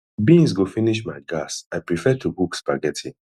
beans go finish my gas i prefer to cook spaghetti